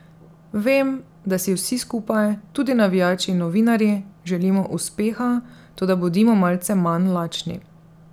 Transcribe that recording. Vem, da si vsi skupaj, tudi navijači in novinarji, želimo uspeha, toda bodimo malce manj lačni.